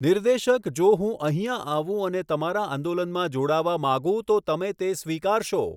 નિર્દેશક જો હું અહીંયાં આવું અને તમારા આંદોલનમાં જોડાવા માંગુ તો તમે તે સ્વીકારશો?